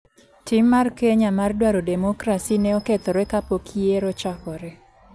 Tim mar Kenya mar dwaro demokrasi ne okethore kapok yiero ochakore.